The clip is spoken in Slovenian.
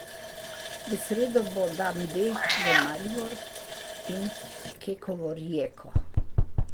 V sredo bo dan D za Maribor in Kekovo Rijeko.